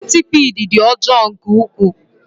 Sentipiid dị ọjọọ nke ukwuu.